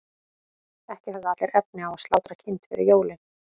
ekki höfðu allir efni á að slátra kind fyrir jólin